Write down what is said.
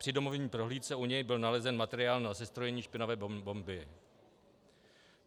Při domovní prohlídce u něj byl nalezen materiál na sestrojení špinavé bomby.